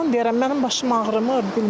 Yalan deyirəm, mənim başım ağrımır.